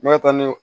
Ne bɛ taa ni